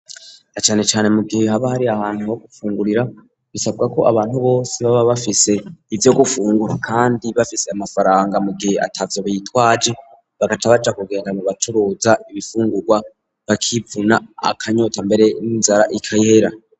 Na canecane mu gihe haba hari ahantu ho gufungurira bisabwa ko abantu bose baba bafise ivyo gufungura kandi bafise amafaranga mu gihe atavyo bitwaje bagaca baja kugenda mu bacuruza ibifungurwa bakivuna akanyota mbere n'inzara igahera.